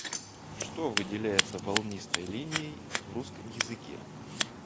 что выделяется волнистой линией в русском языке